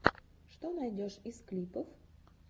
что найдешь из клипов